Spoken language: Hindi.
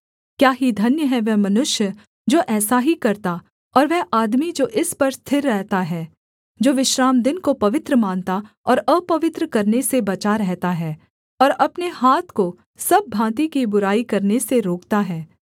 क्या ही धन्य है वह मनुष्य जो ऐसा ही करता और वह आदमी जो इस पर स्थिर रहता है जो विश्रामदिन को पवित्र मानता और अपवित्र करने से बचा रहता है और अपने हाथ को सब भाँति की बुराई करने से रोकता है